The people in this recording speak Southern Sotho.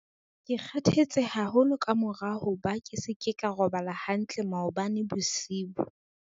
ke kgathetse haholo ka mora hoba ke se ke ka robala hantle maobane bosiu